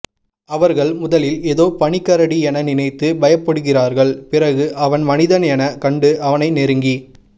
அவர்கள் முதலில் எதோ பனி கரடி என நினைத்து பயப்படுகிறார்கள் பிறகு அவன் மனிதன் என கண்டு அவனை நெருங்கி